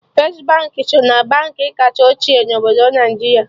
Firstị Baankị so na Baankị kacha ochie na obodo Naijiria